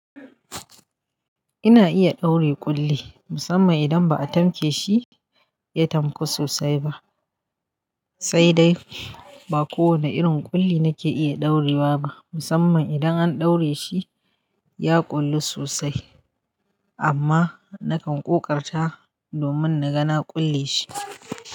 Ina iya ɗaure ƙulli musamman idan ba a tamke shi. Ya tamku sosai ba, sai dai ba ko wane irin ƙulli nake iya ɗaurewa ba musamman idan an ɗaure shi ya ƙullu sosai amma nakan ƙoƙarta domin na ga na ƙulle shi.